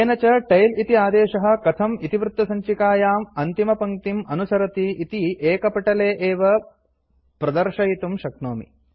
येन च टेल इति आदेशः कथम् इतिवृत्तसञ्चिकायाम् अन्तिमपङ्क्तिम् अनुसरति इति एकपटले एव प्रदर्शयितुं शक्नोमि